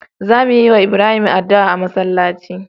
Za muyi wa Ibrahim adu'a a masalaci